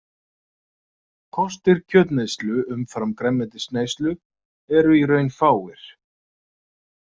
Kostir kjötneyslu umfram grænmetisneyslu eru í raun fáir.